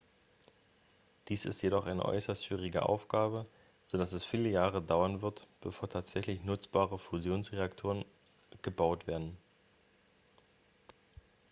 dies ist jedoch eine äußerst schwierige aufgabe so dass es viele jahre dauern wird bevor tatsächlich nutzbare fusionsreaktoren gebaut werden